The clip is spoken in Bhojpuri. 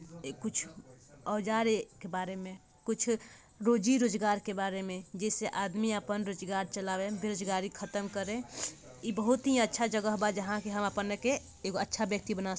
ए कुछ औजार ए के बारे में कुछ रोजी रोजगार के बारे में जे से आदमी अपन रोजगार चलावे बेरोजगारी खत्म करे इ बहुत ही अच्छा जगह बा जहां की हम अपने के एगो अच्छा व्यक्ति बना --